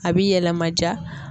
A bi yɛlɛma ja.